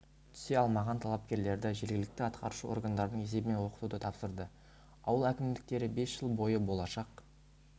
түсе алмаған талапкерлерді жергілікті атқарушы органдардың есебінен оқытуды тапсырды ауыл әкімдіктері бес жыл бойы болашақ